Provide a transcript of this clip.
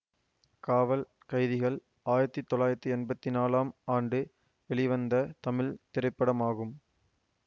காவல் கைதிகள் ஆயிரத்தி தொள்ளாயிரத்தி எம்பத்தி நாலாம் ஆண்டு வெளிவந்த தமிழ் திரைப்படமாகும்